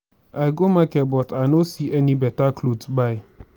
i go market but i know see any beta cloth buy